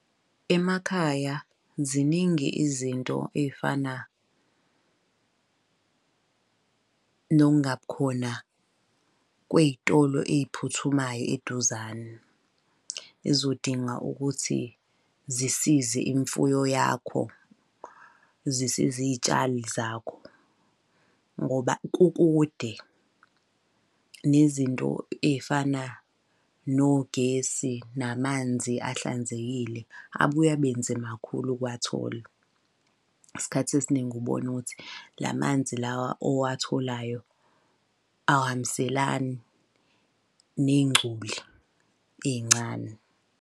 Emakhaya ziningi izinto ey'fana nokungabi khona kwey'tolo ey'phuthumayo eduzane ezizodinga ukuthi zisize imfuyo yakho, zisize iy'tshali zakho. Ngoba kukude, nezinto ey'fana nogesi namanzi ahlanzekile abuye abe nzima kakhulu ukuwathola. Isikhathi esiningi ubone ukuthi la manzi lawa owatholayo awahambiselani ney'ngcoli ey'ncane.